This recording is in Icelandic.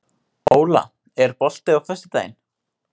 Óla, er bolti á föstudaginn?